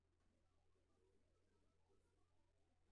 Sidee loo daweyn karaa cilada SAPHOGA?